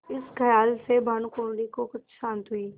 इस खयाल से भानुकुँवरि को कुछ शान्ति हुई